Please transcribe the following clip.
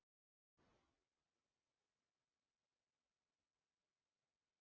Lóa: En áttu von á því að verða kærður fyrir þetta athæfi?